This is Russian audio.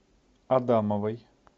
адамовой